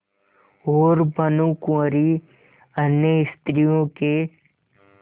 और भानुकुँवरि अन्य स्त्रियों के